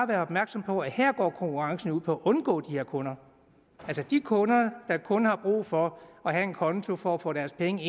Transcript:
være opmærksom på at her går konkurrencen jo ud på at undgå de her kunder altså de kunder der kun har brug for have en konto for at få deres penge